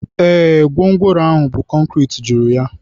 Ee, gwongworo ahụ bu konkịtị juru ya.